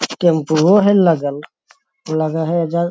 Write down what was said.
टेम्पूओ हे लगल लगहे ऐजा --